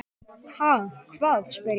Ha, hvað? spyr ég.